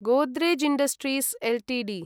Godrej Industries Ltd